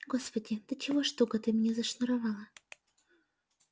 господи до чего ж туго ты меня зашнуровала